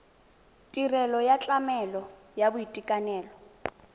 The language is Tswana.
tirelo ya tlamelo ya boitekanelo